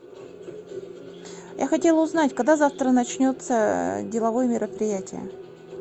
я хотела узнать когда завтра начнется деловое мероприятие